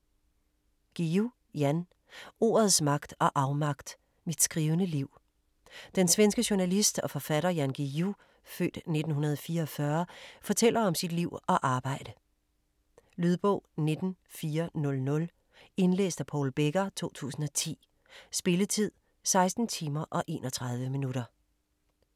Guillou, Jan: Ordets magt og afmagt: mit skrivende liv Den svenske journalist og forfatter Jan Guillou (f. 1944) fortæller om sit liv og arbejde. Lydbog 19400 Indlæst af Paul Becker, 2010. Spilletid: 16 timer, 31 minutter.